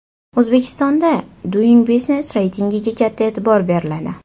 O‘zbekistonda Doing Business reytingiga katta e’tibor beriladi.